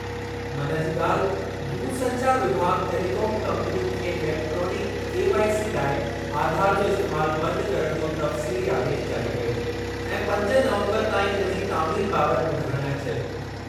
मन जी ॻाल्हि, दूरसंचार विभाॻ टेलीकॉम कंपनियुनि खे इलेक्ट्रॉनिक केवाईसी लाइ आधार जो इस्तेमालु बंदि करणु जो तफ़्सीली आदेशु जारी कयो ऐं पंज नवंबरु ताईं इन जी तामील बाबति ॿुधाइण लाइ चयो।